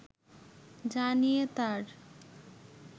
যা নিয়ে তার